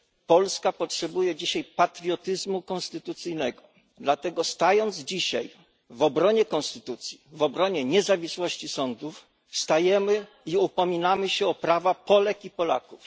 Polska potrzebuje dzisiaj patriotyzmu konstytucyjnego, dlatego stając dzisiaj w obronie konstytucji, w obronie niezawisłości sądów, wstajemy i upominamy się o prawa Polek i Polaków.